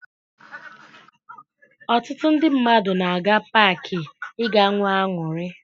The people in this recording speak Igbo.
Ọtụtụ ndị mmadụ na-aga paakị ịga nwee aṅụrị